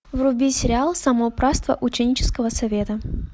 вруби сериал самоуправство ученического совета